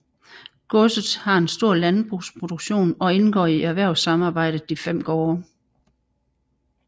Godset har en stor landbrugsproduktion og indgår i erhvervssamarbejdet De 5 Gaarde